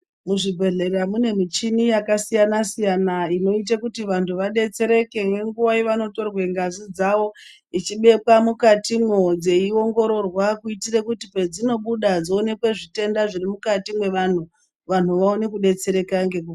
Muzvibhedhlera mune mishini yakasiyana siyana inoita kuti vantu vabetsereke ngenguva yavanotorwa ngazi dzavo ichibekwa mukati mwoo dzeiongororwa kuitire kuti pedzinobuda dzionekwe zvitenda zviri mukati mevanhu, vanhu vaone kubetsereka ngekukasira.